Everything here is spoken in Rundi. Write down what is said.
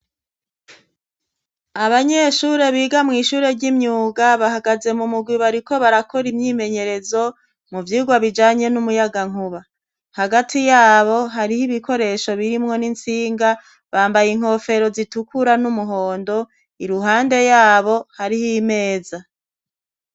Abanyeshure biga mw'ishure ry'imyuga bahagaze mu mugwi bariko barakora imyimenyerezo mu vyurwa bijanye n'umuyagankuba hagati yabo hariho ibikoresho birimwo n'insinga bambaye inkofero zitukura n'umuhondo i ruhande yabo hariho imeza.